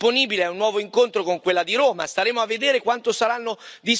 La procura del Cairo si è resa disponibile a un nuovo incontro con quella di Roma.